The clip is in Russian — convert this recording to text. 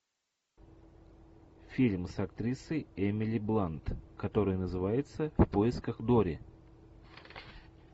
фильм с актрисой эмили блант который называется в поисках дори